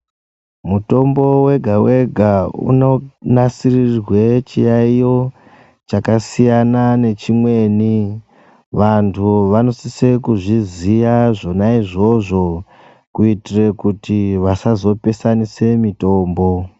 Mutombo vega-vega unonasirirwe chiyaiyo chakasiyana nechimweni. Vantu vanosise kuzviziya izvona izvozvo kuitire kuti vasazopesanisa mitombo.